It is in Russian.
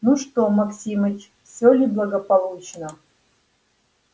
ну что максимыч всё ли благополучно